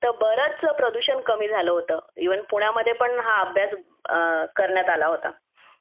तर बरंच स प्रदूषण कमी झालं होतं इव्हन पुण्यामध्ये पण हा अभ्यास करण्यात आला होता